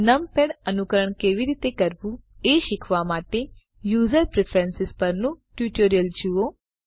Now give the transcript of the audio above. numpad અનુકરણ કેવી રીતે કરવું એ શીખવા માટે યુઝર પ્રેફરન્સ પરનું ટ્યુટોરીયલ જુઓ